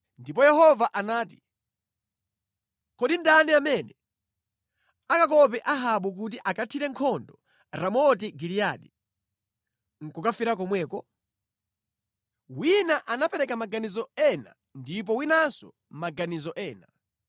Ndipo Yehova anati, ‘Kodi ndani amene akamukope Ahabu kuti akathire nkhondo Ramoti Giliyadi, nʼkukafera komweko?’ ” “Wina anapereka maganizo ena ndipo winanso maganizo ena.